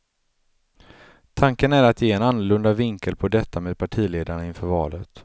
Tanken är att ge en annorlunda vinkel på detta med partiledarna inför valet.